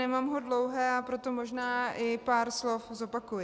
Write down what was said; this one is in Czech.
Nemám ho dlouhé, a proto možná i pár slov zopakuji.